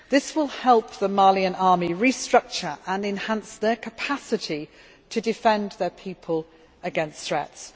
This will help the Malian Army restructure and enhance their capacity to defend their people against threats.